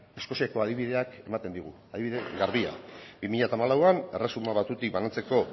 eskoziako adibideak ematen digu adibide garbia bi mila hamalauan erresuma batuetatik banatzeko